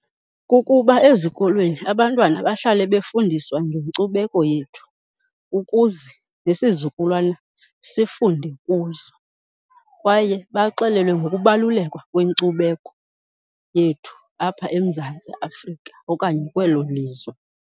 Kukuba ezikolweni abantwana bahlale befundiswa ngenkcubeko yethu ukuze nesizukulwana sifunde kuzo. Kwaye baxelelwe ngokubaluleka kwenkcubeko yethu apha eMzantsi Afrika okanye kwelo lizwe.